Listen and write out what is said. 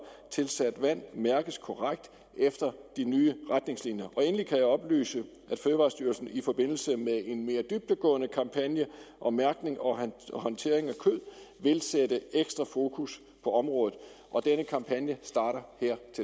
tilsat vand mærkes korrekt efter de nye retningslinjer endelig kan jeg oplyse at fødevarestyrelsen i forbindelse med en mere dybdegående kampagne om mærkning og håndtering af kød vil sætte ekstra fokus på området og denne kampagne starter